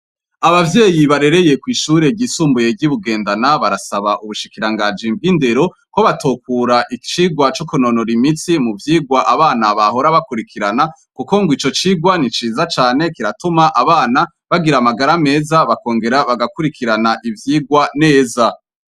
Abavyeyi barereye kw'ishure ryisumbuye ry'ibugendana barasaba ubushikirangajimbwe indero ko batokura icirwa c'ukunonora imitsi mu vyirwa abana bahora bakurikirana, kuko ngo ico cirwa niciza cane kiratuma abana bagira amagara meza bakongera bagakurikirana ivyirwa neza.